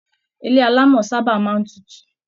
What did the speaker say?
Ilé alámọ̀ sábà máa n tútù.